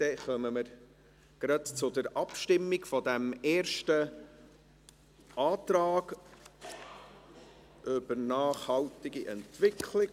Deshalb kommen wir gleich zur Abstimmung über diesen Antrag im Bereich nachhaltige Entwicklung.